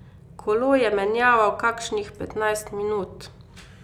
Kolo je menjaval kakšnih petnajst minut.